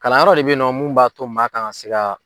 Kalanyɔrɔ de bɛ ye nɔ mun b'a to maa kan ka se ka